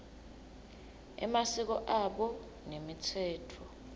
emasiko abo nemitsetfo